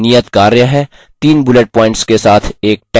यहाँ आपके लिए एक नियतकार्य है